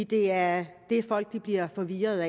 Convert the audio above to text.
det er det folk bliver forvirrede